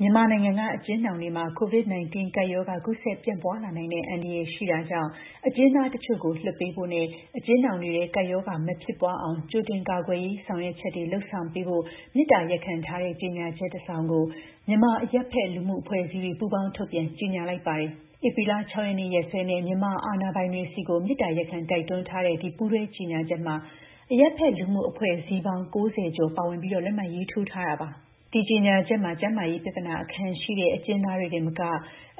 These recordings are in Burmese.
မြန်မာနိုင်ငံက အကျဉ်းထောင်တွေမှာ COVID-19 ကပ်ရောဂါ ကူးစက်ပြန့်ပွားလာနိုင်တဲ့အန္တရာယ်ရှိတာကြောင့် အကျဉ်းသားတချို့ကို လွှတ်ပေးဖို့နဲ့ အကျဉ်းထောင်တွေထဲ ကပ်ရောဂါ မဖြစ်ပွားအောင် ကြိုတင်ကာကွယ်ရေး ဆောင်ရွက်ချက်တွေ လုပ်ဆောင်ပေးဖို့ မေတ္တာရပ်ခံထားတဲ့ ကြေညာချက် တစောင်ကို မြန်မာ့ အရပ်ဖက် လူမှုအဖွဲ့အစည်းတွေ ပူးပေါင်း ထုတ်ပြန်ကြေညာလိုက်ပါတယ်။ ဧပြီလ ၆ ရက်နေ့ ရက်စွဲနဲ့ မြန်မာအာဏာပိုင်တွေထံ မေတ္တာရပ်ခံတိုက်တွန်းထားတဲ့ အဲဒီ ပူးတွဲကြေညာချက်မှာ အရပ်ဖက် လူမှုအဖွဲ့အစည်းပေါင်း ၉၀ ကျော် ပါဝင် လက်မှတ်ရေးထိုးထားတာပါ။ အဲဒီ ကြေညာချက်မှာ ကျန်းမာရေး ပြဿနာအခံရှိတဲ့ အကျဉ်းသားတွေတင်မကဘဲ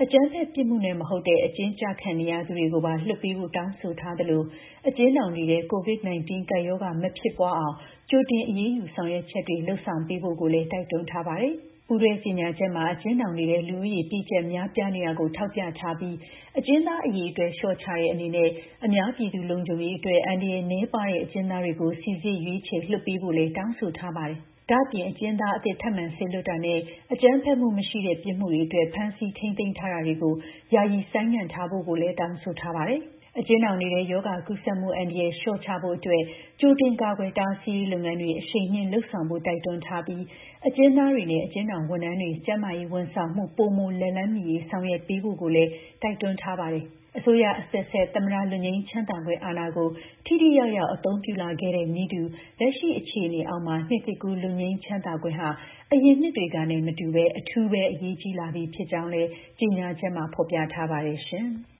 အကြမ်းဖက် ပြစ်မှုနဲ့ မဟုတ်တဲ့ အကျဉ်းကျခံနေရသူတွေကိုပါ လွှတ်ပေးဖို့ တောင်းဆိုထားသလို အကျဉ်းထောင်တွေထဲ COVID-19 ကပ်ရောဂါ မဖြစ်ပွားအောင် ကြိုတင် အရေးယူ ဆောင်ရွက်ချက်တွေ လုပ်ပေးဖို့လည်း တိုက်တွန်းထားပါတယ်။ ပူးတွဲ ကြေညာချက်မှာ အကျဉ်းထောင်တွေထဲ လူဦးရေ ကြပ်ညပ် များပြားနေတာကို ထောက်ပြထားပြီး အကျဉ်းသား အရေအတွက် လျှော့ချတဲ့ အနေနဲ့ အများပြည်သူ လုံခြုံရေးအတွက် အန္တရာယ် နည်းပါးတဲ့ အကျဉ်းသားတွေကို စိစစ် ရွေးချယ်လွှတ်ပေးဖို့တောင်းဆိုထားပါတယ်။ ဒါ့အပြင် နောက်ထပ် ထောင်ချတာနဲ့ အကြမ်းဖက်မှု မရှိတဲ့ ပြစ်မှုအတွက် ဖမ်းဆီးထိန်းသိမ်းတာတွေကို ယာယီဆိုင်ငံ့ထားဖို့လည်း တောင်းဆိုထားပါတယ်။ အကျဉ်းထောင်တွေထဲ ရောဂါကူးစက်မှု အန္တရာယ် လျှော့ချဖို့အတွက် ကြိုတင် ကာကွယ်တားဆီးရေး လုပ်ငန်းတွေ အရှိန်မြှင့် လုပ်ဆောင်ဖို့ တိုက်တွန်းထားပြီး အကျဉ်းသားတွေနဲ့ အကျဉ်းထောင် ဝန်ထမ်းတွေ ကျန်းမာရေး ဝန်ဆောင်မှု ပိုမို လက်လှမ်းမီရေး ဆောင်ရွက်ပေးဖို့ကိုလည်း တိုက်တွန်းထားပါတယ်။ အစိုးရ အဆက်ဆက် သမ္မတ လွတ်ငြိမ်းချမ်းသာခွင့်အာဏာကို ထိထိရောက်ရောက် အသုံးပြုလာခဲ့တဲ့နည်းတူ လက်ရှိ အခြေအနေအောက်မှာ နှစ်သစ်ကူး လွတ်ငြိမ်းချမ်းသာခွင့်ဟာ အရင်နှစ်တွေကနဲ့ မတူပဲ အထူးပဲ အရေးကြီးလာပြီ ဖြစ်ကြောင်းလည်း ကြေညာချက်မှာ ဖော်ပြထားပါတယ်ရှင်။